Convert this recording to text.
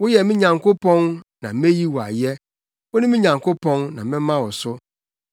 Woyɛ me Nyankopɔn na meyi wo ayɛ; wone me Nyankopɔn na mɛma wo so.